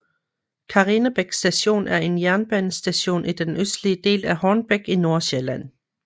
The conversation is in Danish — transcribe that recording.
Karinebæk Station er en jernbanestation i den østlige del af Hornbæk i Nordsjælland